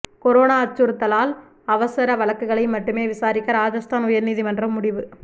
corona அச்சுறுத்தலால் அவசர வழக்குகளை மட்டுமே விசாரிக்க ராஜஸ்தான் உயர்நீதிமன்றம் முடிவு